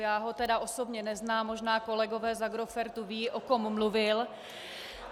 Já ho tedy osobně neznám, možná kolegové z Agrofertu vědí, o kom mluvil.